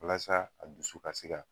Walasa a dusu ka se ka